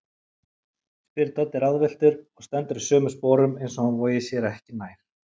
spyr Doddi ráðvilltur og stendur í sömu sporum eins og hann vogi sér ekki nær.